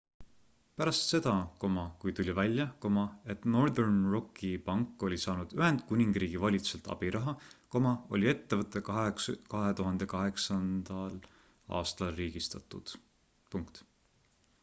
pärast seda kui tuli välja et northern rocki pank oli saanud ühendkuningriigi valitsuselt abiraha oli ettevõte 2008 aastal riigistatud